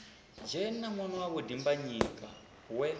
dzhena ṅwana wawe dimbanyika we